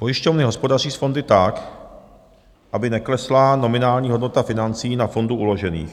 Pojišťovny hospodaří s fondy tak, aby neklesla nominální hodnota financí na fondu uložených.